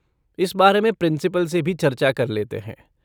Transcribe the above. इस बारे में प्रिंसिपल से भी चर्चा कर लेते हैं।